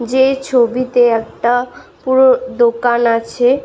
যে ছবিতে একটা পুরো দোকান আছে ।